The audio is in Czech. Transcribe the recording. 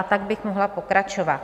A tak bych mohla pokračovat.